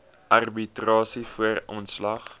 arbitrasie voor ontslag